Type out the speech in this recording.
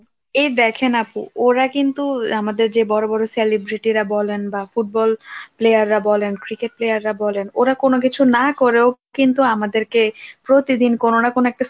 এ দেখেন আপু, ওরা কিন্তু আমাদের যে বড় বড় celebrity রা বলেন বা ফুটবল, player রা বলেন cricket player রা বলেন, ওরা কোন কিছু না করেও কিন্তু আমাদেরকে প্রতিদিন, কোন না কোন একটা